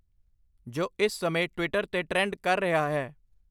ਜੋ ਇਸ ਸਮੇਂ ਟਵਿੱਟਰ 'ਤੇ ਟ੍ਰੈਂਡ ਕਰ ਰਿਹਾ ਹੈ